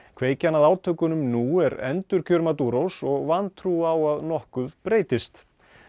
kveikjan að átökunum nú er endurkjör Maduros og vantrú á að nokkuð breytist